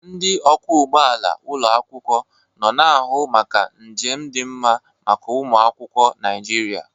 Ndị ọkwọ ụgbọ ala ụlọ akwụkwọ nọ na-ahụ maka njem dị mma maka ụmụ akwụkwọ Naịjirịa.